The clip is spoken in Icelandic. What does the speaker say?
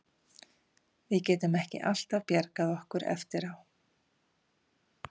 Við getum ekki alltaf bjargað okkur eftir á.